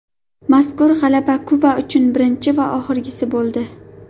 Mazkur g‘alaba Kuba uchun birinchi va oxirgisi bo‘ldi.